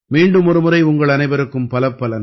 மீண்டும் ஒருமுறை உங்கள் அனைவருக்கும் பலப்பல நன்றிகள்